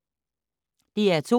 DR2